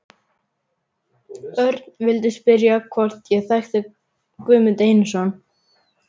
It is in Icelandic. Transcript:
Örn vildi spyrja hvort ég þekkti Guðmund Einarsson.